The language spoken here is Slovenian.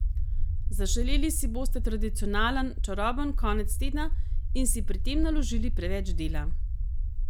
Zaželeli si boste tradicionalen, čaroben konec tedna in si pri tem naložili preveč dela.